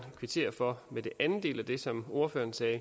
kvittere for den anden del af det som ordføreren sagde